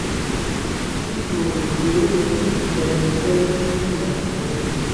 n kò rò pé ó yẹ kí emefiele ṣì wà níbẹ̀